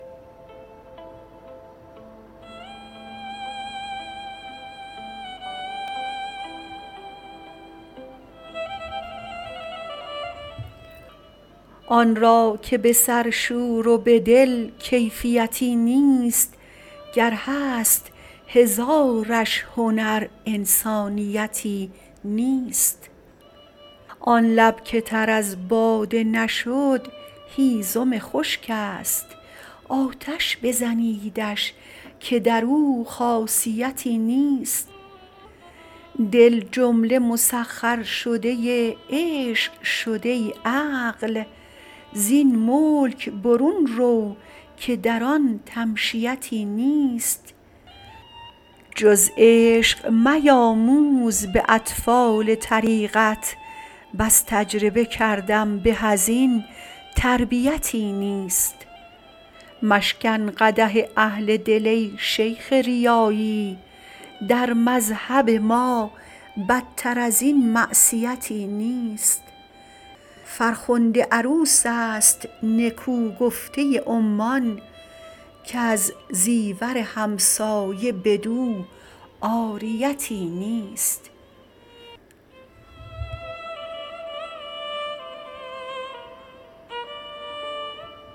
آن را که به سر شور و به دل کیفیتی نیست گر هست هزارش هنر انسانیتی نیست آن لب که تر از باده نشد هیزم خشک است آتش بزنیدش که در او خاصیتی نیست دل جمله مسخر شده عشق شد ای عقل زین ملک برون رو که در آن تمشیتی نیست جز عشق میاموز به اطفال طریقت بس تجربه کردم به از این تربیتی نیست مشکن قدح اهل دل ای شیخ ریایی در مذهب ما بدتر از این معصیتی نیست فرخنده عروس است نکو گفته عمان کز زیور همسایه بدو عاریتی نیست